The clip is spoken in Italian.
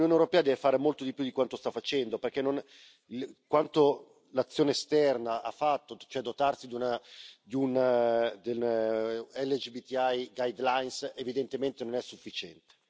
L'Unione europea deve fare molto di più di quanto sta facendo, perché quanto l'azione esterna ha fatto, cioè dotarsi di una LGBTI guidelines, evidentemente non è sufficiente.